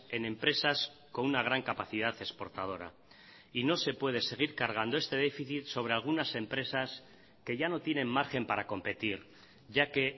en empresas con una gran capacidad exportadora y no se puede seguir cargando este déficit sobre algunas empresas que ya no tienen margen para competir ya que